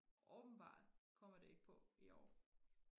åbenbart kommer det ikke på i år